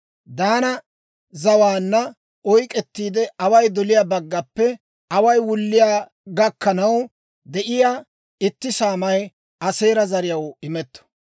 Daana zawaanna oyk'k'ettiide, away doliyaa baggappe away wulliyaa gakkanaw de'iyaa itti saamay Aaseera zariyaw imetto.